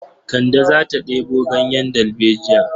Kande za ta ɗebo ganyen dalbejiya.